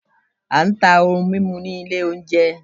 a ta ohún mimú ní ilé oúnjẹ.